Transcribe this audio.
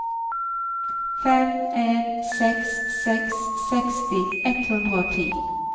fem en seks seks seksti ett hundre og ti